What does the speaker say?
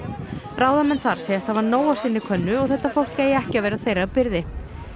ráðamenn þar segjast hafa nóg á sinni könnu og þetta fólk eigi ekki að vera þeirra byrði